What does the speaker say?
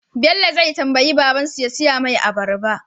Bello zai tambayi baban su ya siya mai abarba